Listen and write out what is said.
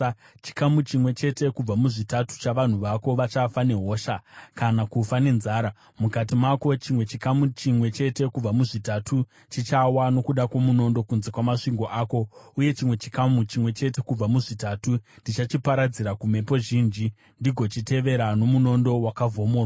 Chikamu chimwe chete kubva muzvitatu chavanhu vako vachafa nehosha kana kufa nenzara mukati mako; chimwe chikamu chimwe chete kubva muzvitatu chichawa nokuda kwomunondo kunze kwamasvingo ako; uye chimwe chikamu chimwe chete kubva muzvitatu ndichachiparadzira kumhepo zhinji ndigochitevera nomunondo wakavhomorwa.